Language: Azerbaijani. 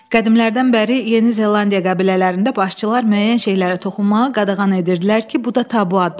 Qədimlərdən bəri Yeni Zellandiya qəbilələrində başçılar müəyyən şeylərə toxunmağı qadağan edirdilər ki, bu da tabu adlanırdı.